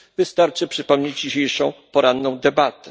Wystarczy przypomnieć dzisiejszą poranną debatę.